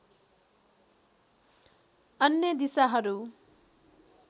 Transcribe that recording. अन्य दिशाहरू